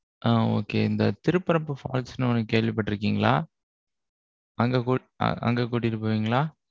அ, okay. இந்த Thirparappu falls ன்னு, ஒண்ணு கேள்விப்பட்டிருக்கீங்களா? அங்க கூட, அங்க கூட்டிட்டு போவீங்களா?